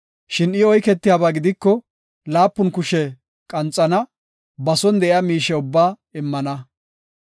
Shin I oyketiyabaa gidiko, laapun kushe qanxana; ba son de7iya miishe ubbaa immana.